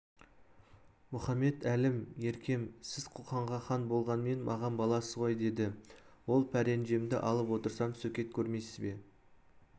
мұхамед әлім еркем сіз қоқанға хан болғанмен маған баласыз ғой деді ол пәренжемді алып отырсам сөкет көрмейсіз бе